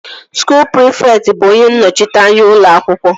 Skuul prịfekt bụ onye nnọchiteanya ụlọ akwụkwọ